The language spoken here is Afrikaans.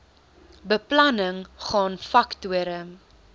beplanning gaan faktore